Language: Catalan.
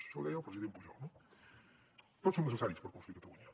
això ho deia el president pujol no tots som necessaris per construir catalunya